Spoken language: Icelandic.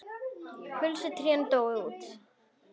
Kulvísu trén dóu út.